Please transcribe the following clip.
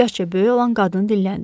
Yaşca böyük olan qadın dinləndi.